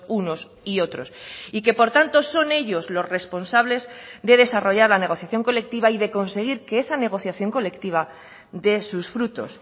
unos y otros y que por tanto son ellos los responsables de desarrollar la negociación colectiva y de conseguir que esa negociación colectiva dé sus frutos